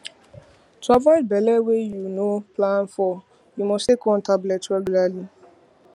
to avoid belle wey you no plan for you must take one tablet regularly